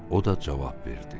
O da cavab verdi: